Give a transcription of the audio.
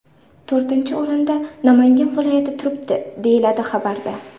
To‘rtinchi o‘rinda Namangan viloyati turibdi”, deyiladi xabarda.